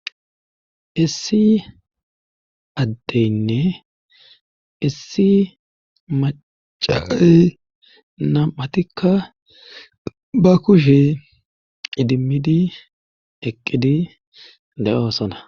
issi addeynne issi macaay nam7atikka ba kushe idimmidi eqqidi le7oosona